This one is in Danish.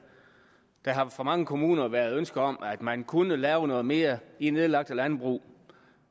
der har fra mange kommuner været ønske om at man kunne lave noget mere i nedlagte landbrug